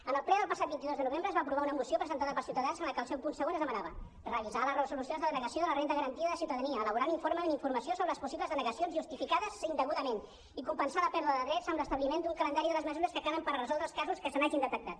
en el ple del passat vint dos de novembre es va aprovar una moció presentada per ciu·tadans en què en el seu punt segon es demanava revisar les resolucions de denega·ció de la renda garantida de ciutadania elaborar un informe amb informació sobre els possibles denegacions justificades indegudament i compensar la pèrdua de drets amb l’establiment d’un calendari de les mesures que calen per a resoldre els casos que se n’hagin detectat